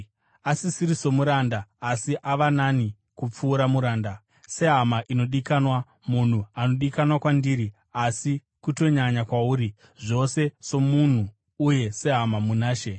asisiri somuranda, asi ava nani kupfuura muranda, sehama inodikanwa. Munhu anodikanwa kwandiri, asi kutonyanya kwauri, zvose somunhu uye sehama muna She.